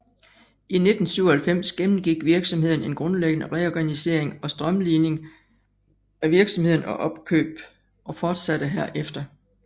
I 1997 gennemgik virksomheden en grundlæggende reorganisering og strømlining af virksomheden og opkøb fortsate herefter